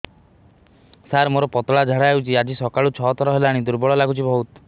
ସାର ମୋର ପତଳା ଝାଡା ହେଉଛି ଆଜି ସକାଳୁ ଛଅ ଥର ହେଲାଣି ଦୁର୍ବଳ ଲାଗୁଚି ବହୁତ